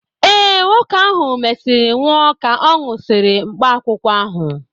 Ee, nwoke ahụ mesịrị nwụọ ka ọ nwụsịrị mkpaakwụkwọ ahụ.